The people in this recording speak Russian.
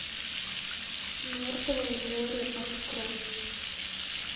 мертвое море открой